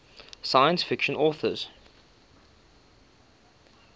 science fiction authors